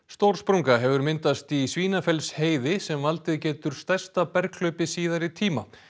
stór sprunga hefur myndast í sem valdið getur stærsta berghlaupi síðari tíma